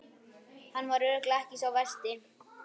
Hann var örugglega ekki sá versti!